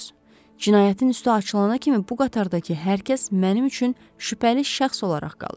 Cinayətin üstü açılana kimi bu qatardakı hər kəs mənim üçün şübhəli şəxs olaraq qalır.